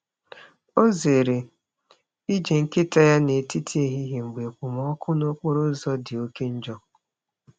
Ọ zere ije nkịta ya n’etiti ehihie mgbe okpomọkụ n’okporo ụzọ dị oke njọ.